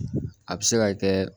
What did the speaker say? A bɛ se ka kɛ